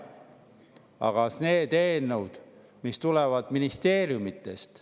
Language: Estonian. Aga need eelnõud, mis tulevad ministeeriumidest …